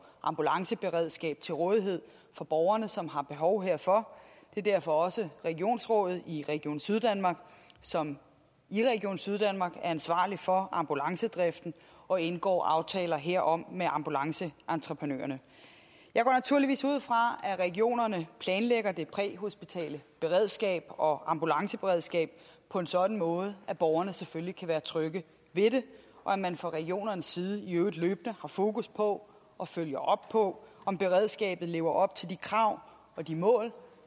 ambulanceberedskabet til rådighed for borgerne som har behov herfor det er derfor også regionsrådet i region syddanmark som i region syddanmark er ansvarlig for ambulancedriften og indgår aftaler herom med ambulanceentreprenørerne jeg går naturligvis ud fra at regionerne planlægger det præhospitale beredskab og ambulanceberedskabet på en sådan måde at borgerne selvfølgelig kan være trygge ved det og at man fra regionernes side i øvrigt løbende har fokus på og følger op på om beredskabet lever op til de krav og de mål